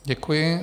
Děkuji.